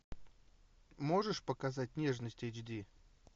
можешь показать нежность эйч ди